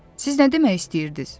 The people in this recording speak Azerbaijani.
Siz nə demək istəyirdiz?